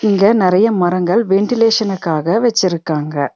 இங்க நெறைய மரங்கள் வென்டிலேஷனுக்காக வெச்சிருக்காங்க.